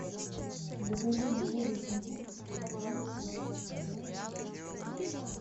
закажи мне воду есентуки номер семнадцать полтора литра